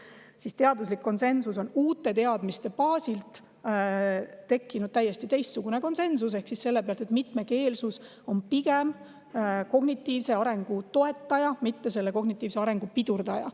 on uute teadmiste baasilt tekkinud täiesti teistsugune konsensus: mitmekeelsus on pigem kognitiivse arengu toetaja, mitte pidurdaja.